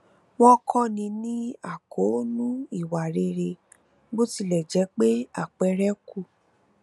wọn kọni ní àkóónú ìwà rere bó tilẹ jẹ pé àpẹẹrẹ kù